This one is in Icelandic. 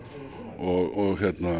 og